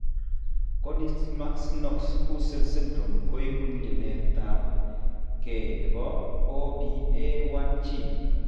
Konigsmark Knox Hussels syndrome koibu nyilet ab ge nebo OPA1 gene